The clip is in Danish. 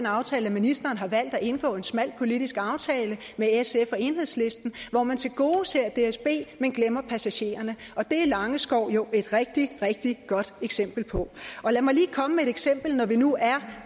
aftale at ministeren har valgt at indgå en smal politisk aftale med sf og enhedslisten hvor man tilgodeser dsb men glemmer passagererne det er langeskov jo et rigtig rigtig godt eksempel på lad mig lige komme med et eksempel når vi nu er